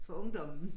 For ungdommen